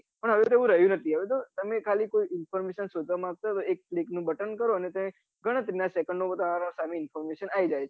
પન હવે તું એવું રહયુ નથી હવે ખાલી information શોઘવા માટે એક click નું button કરો ને ગણતરી ના secondo માં તમારી પાસે information આવી જાય છે